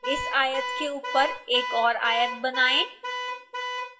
इस आयत के ऊपर एक और आयत बनाएं